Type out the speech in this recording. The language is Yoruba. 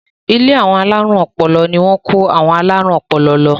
Ilé àwọn alárùn ọpọlọ ni wọ́n kó àwọn alárùn ọpọlọ lọ.